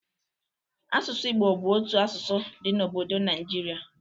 Asụsụ Igbo bụ otu asụsụ dị n'obodo Naịijirị